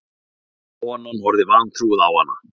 Konan horfði vantrúuð á hana.